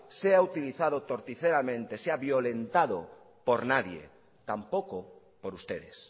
sea utilizado torticeramente sea violentado por nadie tampoco por ustedes